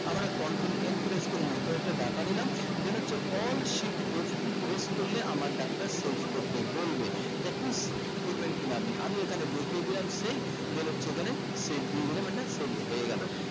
আমরা এক control n press করে নতুন একটা data নিলাম then হচ্ছে alt shift f two press করলে আমার data টা save করতে বলবে that means ঠিক করবেন কিভাবে আমি এখানে দেখিয়ে দিলাম save then হচ্ছে যেখানে save দিয়ে দিলাম এটা save হয়ে গেলো